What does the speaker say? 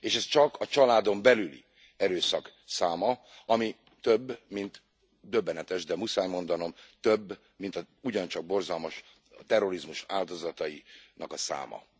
És ez csak a családon belüli erőszak száma, ami több mint döbbenetes, de muszáj mondanom több mint az ugyancsak borzalmas terrorizmus áldozatainak a száma.